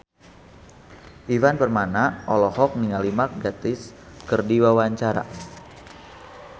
Ivan Permana olohok ningali Mark Gatiss keur diwawancara